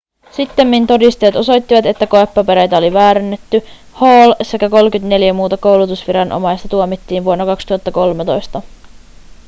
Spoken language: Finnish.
sittemmin todisteet osoittivat että koepapereita oli väärennetty hall sekä 34 muuta koulutusviranomaista tuomittiin vuonna 2013